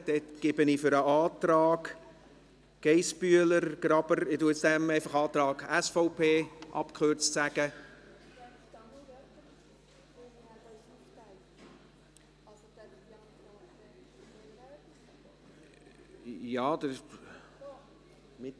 Dann gebe ich für den Antrag Geissbühler/Graber, ich nenne diesen von nun an einfach abgekürzt Antrag SVP …– Nun gut.